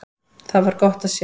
Það var gott að sjá.